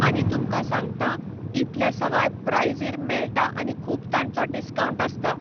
आनी तुमकां सांगता इतल्या सवाय प्रायझीर मेळटा आनी खूप तांचो डिस्कांवंट आसता.